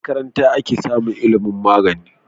A makaranta ake samun ilimun magani